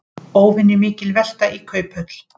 Óvenjumikil velta í Kauphöll